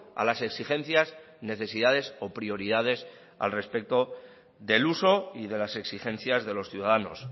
a las exigencias necesidades o prioridades al respecto del uso y de las exigencias de los ciudadanos